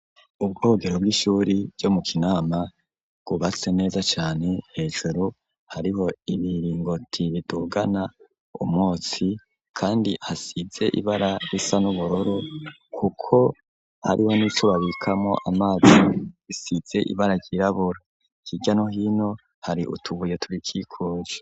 Ubwogero bw'ishure ryo mu Kinama bwubatse neza cane, hejuru hariho ibiringoti bidugana umwotsi kandi hasize ibara risa n'ubururu kuko hariho n'ico bikamwo amazi gisize ibara ryirabura. Hirya no hino, hari utubuye turikikuje.